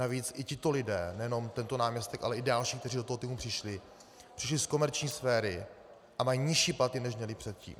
Navíc i tito lidé, nejenom tento náměstek, ale i další, kteří do toho týmu přišli, přišli z komerční sféry a mají nižší platy, než měli předtím.